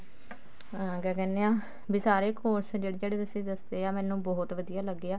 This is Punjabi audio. ਹਾਂ ਕਿਆ ਕਹਿਨੇ ਹਾਂ ਵੀ ਸਾਰੇ course ਜਿਹੜੇ ਜਿਹੜੇ ਤੁਸੀਂ ਦੱਸੇ ਆ ਮੈਨੂੰ ਬਹੁਤ ਵਧੀਆ ਲੱਗੇ ਆ